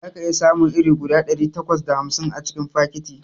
Zaka iya samun iri guda ɗari takwas da hamsin a cikin fakiti